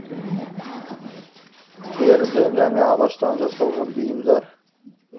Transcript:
теріден және ағаштан жасалған бұйымдар